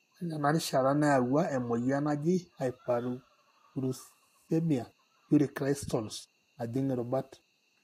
ore tena rishata, neyawua emoyian naji hyperuricemia uric crystals najing irubat.